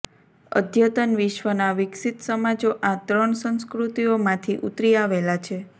અદ્યતન વિશ્વના વિકસિત સમાજો આ ત્રણ સંસ્કૃતિઓમાંથી ઉતરી આવેલા છે